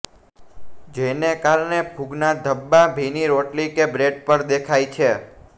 જેને કારણે ફૂગના ધબ્બા ભીની રોટલી કે બ્રેડ પર દેખાય છે